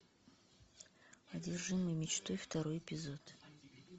одержимый мечтой второй эпизод